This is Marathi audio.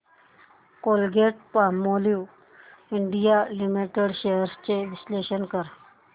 कोलगेटपामोलिव्ह इंडिया लिमिटेड शेअर्स चे विश्लेषण कर